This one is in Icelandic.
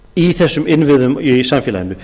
í þessum innviðum í samfélaginu